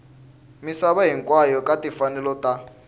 misava hinkwayo ka timfanelo ta